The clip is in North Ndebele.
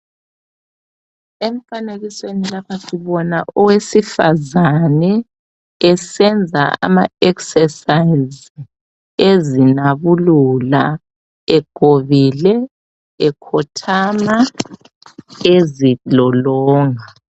Emfanekisweni lapha sibona owesifazane esenza ama eksesayiz, ezinabulula, egobile, ekhothama, ezilolonga.